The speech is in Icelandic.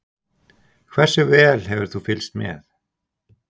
Hversu vel hefur þú fylgst með?